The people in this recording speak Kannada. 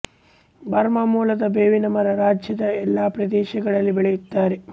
ಬರ್ಮಾ ಮೂಲದ ಬೇವಿನ ಮರ ರಾಜ್ಯದ ಎಲ್ಲಾ ಪ್ರದೇಶಗಳಲ್ಲಿ ಬೆಳೆಯುತ್ತಾರೆ